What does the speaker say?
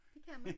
Det kan man